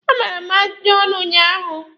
A gbara m ajụjụ ọnụ ụnyaahụ.